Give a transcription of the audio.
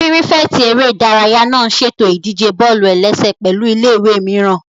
Pírífẹ̀tì eré ìdárayá náà n ṣètò ìdíje bọ́ọ̀lù-ẹlẹ́sẹ̀ pẹ̀lụ́ ilé-ìwé mìíràn